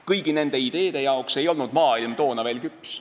Kõigi nende ideede jaoks ei olnud maailm toona veel küps.